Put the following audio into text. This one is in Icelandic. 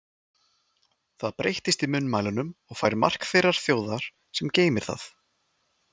Það breytist í munnmælunum og fær mark þeirrar þjóðar, sem geymir það.